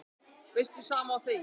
Veistu, sama og þegið.